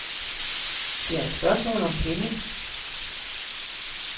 Det er spørgsmål om penge.